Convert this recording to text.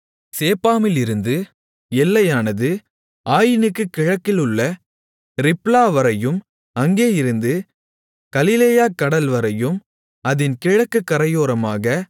சேப்பாமிலிருந்து எல்லையானது ஆயினுக்குக் கிழக்கிலுள்ள ரிப்லாவரையும் அங்கேயிருந்து கலிலேயா கடல் வரையும் அதின் கிழக்குக் கரையோரமாக